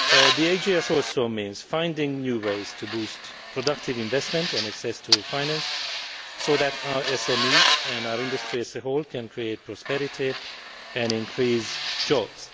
The AGS also means finding new ways to boost productive investment and to provide access to finance so that our SMEs and our industries as a whole can create prosperity and create jobs.